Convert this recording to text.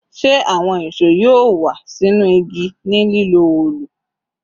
Ṣe awọn ìṣó yoo wa sinu igi ni lilo òòlù?